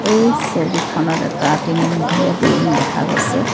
এই ছবিখনত এটা তিনিমহলীয়া বিল্ডিং দেখা গৈছে।